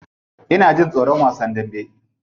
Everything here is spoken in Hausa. Ina jin tsoron wasan dambe.